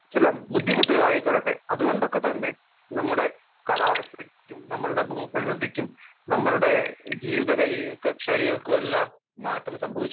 speaker 1 ചില ബുദ്ധിമുട്ടുകൾ ആയിക്കൊള്ളട്ടെ അതുകൊണ്ടു തന്നെ നമ്മുടെ കാലാവസ്ഥക്കും നമ്മുടെ ജീവിത ശൈലികൾക്കും എല്ലാം മാറ്റങ്ങൾ സംഭവിച്ചിട്ടുണ്ട് ഭൂപ്രകൃതിക്കും